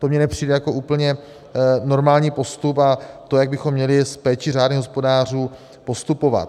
To mi nepřijde jako úplně normální postup a to, jak bychom měli s péčí řádných hospodářů postupovat.